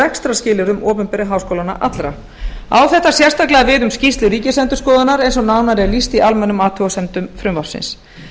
rekstrarskilyrðum opinberu háskólanna allra á þetta sérstaklega við um skýrslu ríkisendurskoðunar eins og nánar er lýst í almennum athugasemdum frumvarpsins